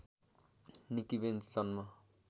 Nikki Benz जन्म